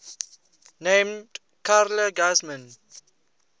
named carla guzman